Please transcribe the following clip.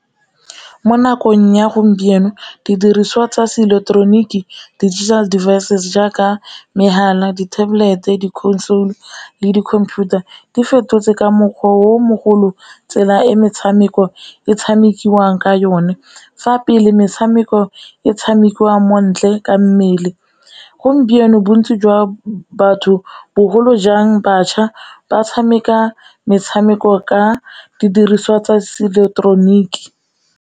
Mo nakong ya gompieno didiriswa tsa seIleketeroniki digital devices jaaka magala, di Tablet, di-console, le di-computer, di fetotse ka mokgwa o mogolo tsela e metshameko e tshamekiwang ka yone. Fa pele metshameko e tshamekiwang mo ntle ka mmele, gompieno bontsi jwa batho bogolo jang bašwa ba tshameka metshameko ka didiriswa tsa seileketeroniki.